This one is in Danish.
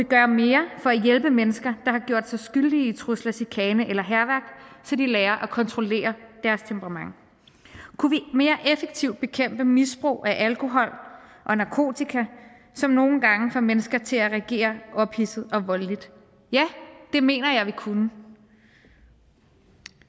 gøre mere for at hjælpe mennesker der har gjort sig skyldige i trusler chikane eller hærværk så de lærer at kontrollere deres temperament kunne vi mere effektivt bekæmpe misbrug af alkohol og narkotika som nogle gange får mennesker til at reagere ophidset og voldeligt ja det mener jeg vi kunne